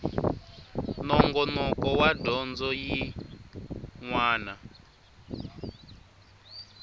nongonoko wa dyondzo yin wana